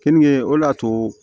Kenige o de y'a to